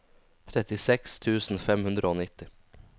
trettiseks tusen fem hundre og nitti